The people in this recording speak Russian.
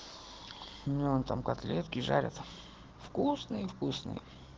мне вон там котлеты жарят вкусные вкусные